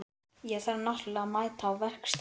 Ég þarf náttúrlega að mæta á verkstæðið.